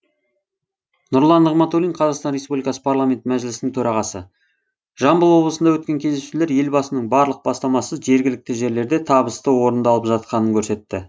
нұрлан нығматулин қазақстан республикасы парламенті мәжілісінің төрағасы жамбыл облысында өткен кездесулер елбасының барлық бастамасы жергілікті жерлерде табысты орындалып жатқанын көрсетті